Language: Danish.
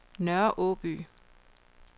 Nørre Aaby